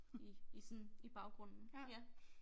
I i sådan i baggrunden ja